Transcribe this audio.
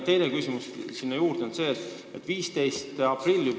Teine küsimus on selle kohta, et see seadus hakkab kehtima juba 15. aprillist.